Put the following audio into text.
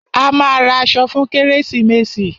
A máa ra aṣọ fún kérésìmesì.